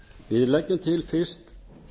við leggjum til fyrst